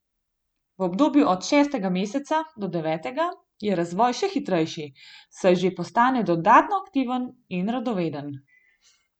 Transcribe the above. V obdobju od šestega meseca do devetega je razvoj še hitrejši, saj že postane dodatno aktiven in radoveden.